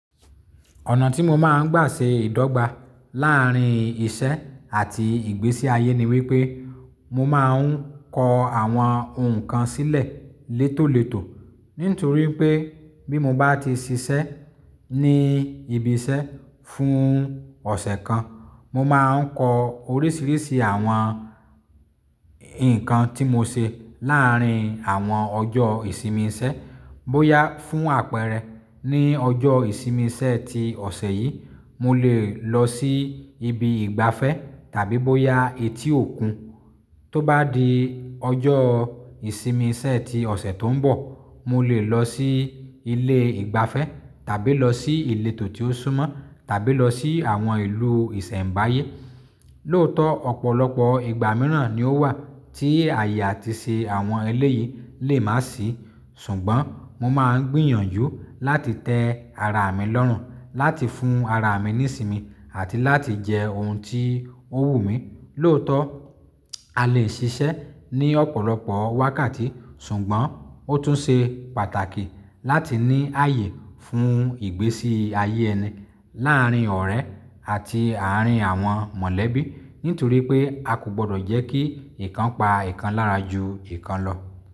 Ọ̀nà tí mo máa ń gbà ṣe ìdọ́gba láàárín ìṣe àti ìgbésí ayé ni wípé mo máa ń kọ àwọn nǹkan sílẹ̀ létòletò. Nítorí pé bí mo bá ti ṣiṣẹ́ ní ibi iṣẹ́ fún ọ̀sẹ̀ kan, mo máa ń kọ oríṣiríṣi àwọn nǹkan tí mo ṣe láàárín àwọn ọjọ́ ìsinmi iṣẹ́. Bóyá fún àpẹẹrẹ ní ọjọ́ ìsinmi iṣẹ́ ti ọ̀sẹ̀ yìí, mo lè lọ sí ibi ìgbafẹ́ tàbí bóyá etí òkun. Tó bá di ọjọ́ ìsinmi iṣẹ́ ti ọ̀sẹ̀ tó ń bọ̀, mo lè lọ sí ilé ìgbafẹ́ tàbí lọ sí ìletò tí ó súnmọ́ tàbí lọ sí àwọn ìlú ìṣẹ̀mbáyé. Lóòótọ́ ọ̀pọ̀lọpọ̀ ìgbà mìíràn ni ó wà tí ààyè àti ṣe àwọn eléyìí lè má sìí. Ṣùgbọ́n mo máa ń gbìyànjú láti tẹ ara mi lọ́rùn, láti fún ara mi ní ìsinmi àti láti jẹ ohun tí ó wù mí. Lóòótọ́ a lè ṣiṣẹ́ ní ọ̀pọ̀lọpọ̀ wákàtí, ṣùgbọ́n ó tún ṣe pàtàkì láti ní ààyè fún ìgbésí ayé ẹni láàárín ọ̀rẹ́ àti àárín àwọn mọ̀lẹ́bí. Nítorí pé a kò gbọdọ̀ jẹ́ kí nǹkan pa nǹkan lára ju nǹkan lọ.